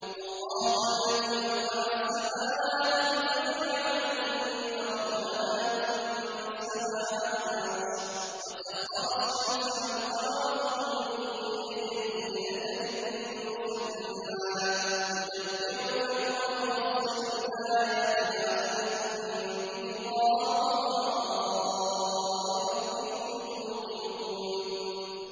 اللَّهُ الَّذِي رَفَعَ السَّمَاوَاتِ بِغَيْرِ عَمَدٍ تَرَوْنَهَا ۖ ثُمَّ اسْتَوَىٰ عَلَى الْعَرْشِ ۖ وَسَخَّرَ الشَّمْسَ وَالْقَمَرَ ۖ كُلٌّ يَجْرِي لِأَجَلٍ مُّسَمًّى ۚ يُدَبِّرُ الْأَمْرَ يُفَصِّلُ الْآيَاتِ لَعَلَّكُم بِلِقَاءِ رَبِّكُمْ تُوقِنُونَ